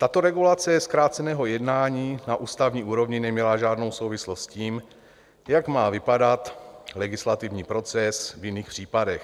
Tato regulace zkráceného jednání na ústavní úrovni neměla žádnou souvislost s tím, jak má vypadat legislativní proces v jiných případech.